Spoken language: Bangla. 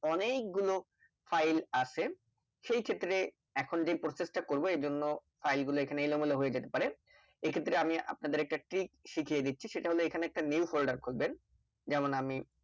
অনেক গুলো File আছে সেই ক্ষেত্রে এখন যে Process টা করব এই জন্য File গুলো এখানে এলোমেলো হয়ে যেতে পারে, এক্ষেত্রে আমি আপনাদের একটা Trick শিখিয়ে দিচ্ছি সেটা হলো এখানে একটা New folder খুলবেন যেমন আমি